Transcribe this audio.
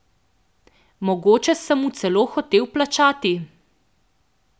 Mogoče sem mu celo hotel plačati.